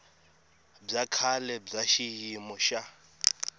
bya kahle bya xiyimo xa